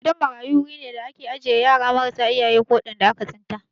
Gidan marayu guri ne da ake ajiye yara marasa iyaye ko waɗanda aka tsinta.